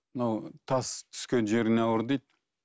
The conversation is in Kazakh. мынау тас түскен жеріне ауыр дейді